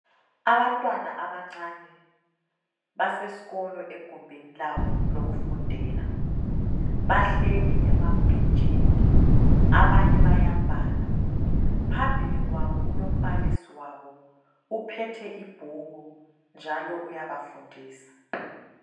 Abantwana abancane basesikolo egumbini labo lokufundela, bahleli emabhentshini abanye bayabhala, phambili kwabo kulo mbalisi wabo uphethe ibhuku njalo uyabafundisa.